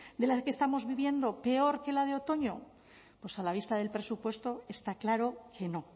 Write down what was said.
de la que estamos viviendo peor que la de otoño pues a la vista del presupuesto está claro que no